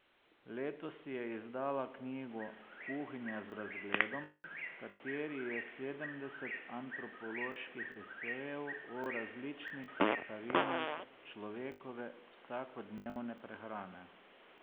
Letos je izdala knjigo Kuhinja z razgledom, v kateri je sedemdeset antropoloških esejev o različnih sestavinah človekove vsakodnevne prehrane.